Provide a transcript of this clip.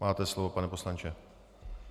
Máte slovo, pane poslanče.